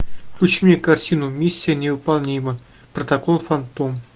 включи мне картину миссия невыполнима протокол фантом